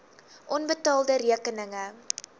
onbetaalde rekeninge